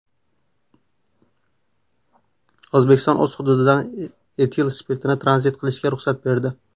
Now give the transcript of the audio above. O‘zbekiston o‘z hududidan etil spirtini tranzit qilishga ruxsat berdi.